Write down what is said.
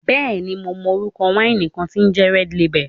Bẹ́ẹ̀ni mo mọ orúkọ wáìnì kan tí ń jẹ́ Red lebel